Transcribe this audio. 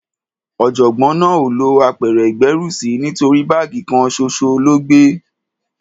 Ọ̀jọ̀gbọ́n náà ò lọ apẹ̀rẹ̀ ìgbérùsí nítorí báàgì kan ṣoṣo ló gbé.